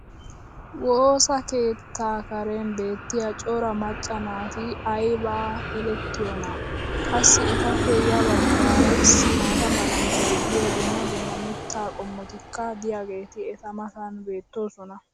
woossa keettaa karen beetiya cora macca naati ayba elettiyoonaa! qassi etappe ya bagaara issi maata mala meray diyo dumma dumma mitaa qommotikka diyaageeti eta matan beetoosona